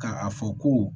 Ka a fɔ ko